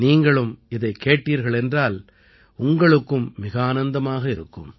நீங்களும் இதைக் கேட்டீர்கள் என்றால் உங்களுக்கும் மிக ஆனந்தமாக இருக்கும்